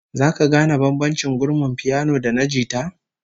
Zaka gane bambancin gurmin piyano da na jita?